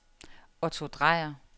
Otto Dreyer